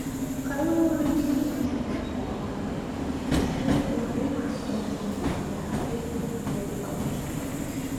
Kaluwore gi midhusi mar korona osemedore ma ochopo mia adek gi pier auchiel